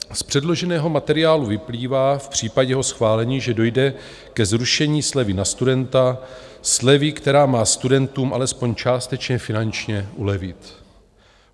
Z předloženého materiálu vyplývá v případě jeho schválení, že dojde ke zrušení slevy na studenta, slevy, která má studentům alespoň částečně finančně ulevit.